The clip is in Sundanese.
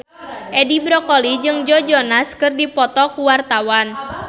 Edi Brokoli jeung Joe Jonas keur dipoto ku wartawan